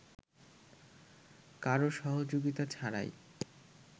কারো সহযোগিতা ছাড়াই